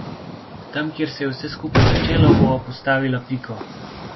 Tam, kjer se je vse skupaj začelo, bova postavila piko.